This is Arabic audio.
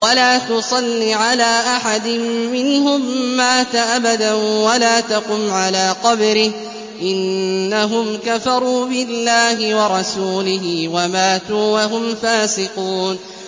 وَلَا تُصَلِّ عَلَىٰ أَحَدٍ مِّنْهُم مَّاتَ أَبَدًا وَلَا تَقُمْ عَلَىٰ قَبْرِهِ ۖ إِنَّهُمْ كَفَرُوا بِاللَّهِ وَرَسُولِهِ وَمَاتُوا وَهُمْ فَاسِقُونَ